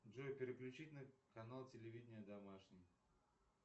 джой переключить на канал телевидения домашний